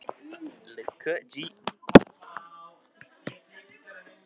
Dísella, pantaðu tíma í klippingu á mánudaginn.